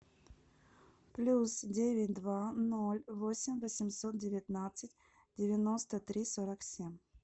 плюс девять два ноль восемь восемьсот девятнадцать девяносто три сорок семь